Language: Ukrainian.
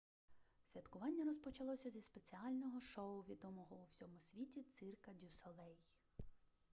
святкування розпочалося зі спеціального шоу відомого у всьому світі цирка дю солей